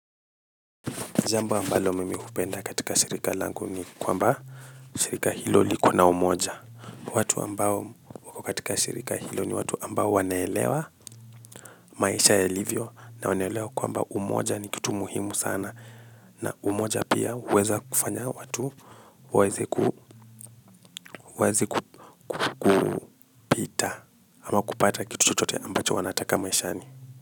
Jambo ambalo mimi hupenda katika shirika langu ni kwamba shirika hilo liko na umoja. Watu ambao wako katika shirika hilo ni watu ambao wanaelewa maisha yalivyo na wanaelewa kwamba umoja ni kitu muhimu sana. Na umoja pia huweza kufanya watu waweze kupita ama kupata kitu chochote ambacho wanataka maishani.